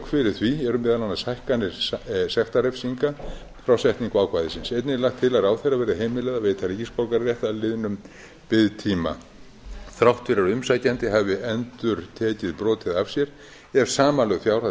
fyrir því eru meðal annars hækkanir sektarrefsinga frá setningu ákvæðisins einnig er lagt til að ráðherra verði heimilað að veita ríkisborgararétt að liðnum biðtíma þrátt fyrir að umsækjandi hafi endurtekið brotið af sér ef samanlögð